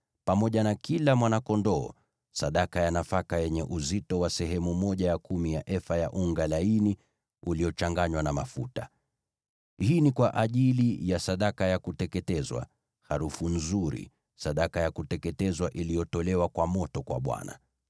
pamoja na kila mwana-kondoo, sadaka ya nafaka yenye uzito wa sehemu ya kumi ya efa ya unga laini uliochanganywa na mafuta. Hii ni kwa ajili ya sadaka ya kuteketezwa, harufu nzuri, sadaka ya kuteketezwa iliyotolewa kwa moto kwa Bwana .